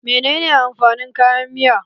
Menene amfanin kayan miya?